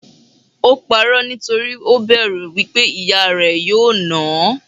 Ò pa'rọ́ nítorí ó bẹ̀rù wípé ìyá rẹ̀ yóò náà hán.